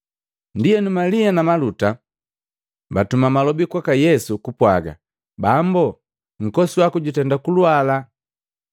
Ndienu, Malia na Maluta baatuma malobi kwaka Yesu kupwaga, “Bambo, nkosi waku jutenda kulwala!”